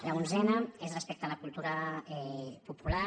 l’onzena és respecte a la cultura popular